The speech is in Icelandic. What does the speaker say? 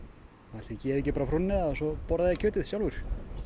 ætli ég gefi ekki bara frúnni það og svo borða ég kjötið sjálfur